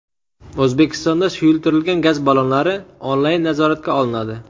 O‘zbekistonda suyultirilgan gaz ballonlari onlayn nazoratga olinadi.